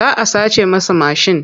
Za a sace masa mashin.